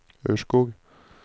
Ørskog